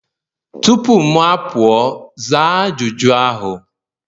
tupu m apụọ, zaa ajụjụ ahụ!